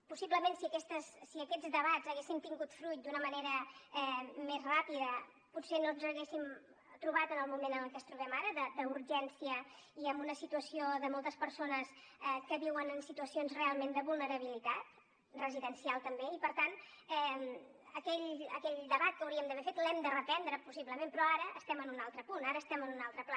possiblement si aquests debats haguessin tingut fruit d’una manera més ràpida potser no ens haguéssim trobat en el moment en el que ens trobem ara d’urgència i amb una situació de moltes persones que viuen en situacions realment de vulnerabilitat residencial també i per tant aquell debat que hauríem d’haver fet l’hem de reprendre possiblement però ara estem en un altre punt ara estem en un altre pla